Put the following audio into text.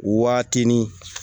Waatinin